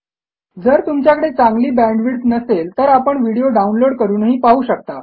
जर तुमच्याकडे चांगली बॅण्डविड्थ नसेल तर आपण व्हिडिओ डाउनलोड करूनही पाहू शकता